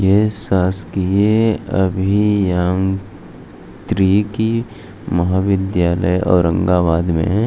ये शासकीय अभियान त्रिकी महाविद्यालय औरंगाबाद मे --